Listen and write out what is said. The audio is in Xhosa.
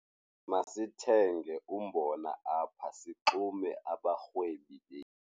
Masithenge umbona apha sixume abarhwebi.